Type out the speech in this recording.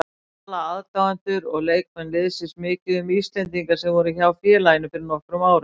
Tala aðdáendur og leikmenn liðsins mikið um íslendingana sem voru hjá félaginu fyrir nokkrum árum?